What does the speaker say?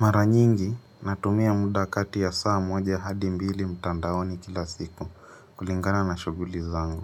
Mara nyingi natumia muda kati ya saa moja hadi mbili mtandaoni kila siku kulingana na shughuli zangu